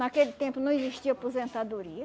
Naquele tempo não existia aposentadoria.